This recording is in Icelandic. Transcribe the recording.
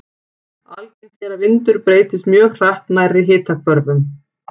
Algengt er að vindur breytist mjög hratt nærri hitahvörfunum.